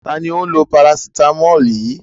Ta ni ó ń lo parasítámọ̀ yìí?